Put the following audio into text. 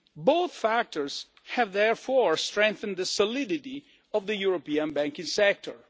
Both factors have therefore strengthened the solidity of the European banking sector.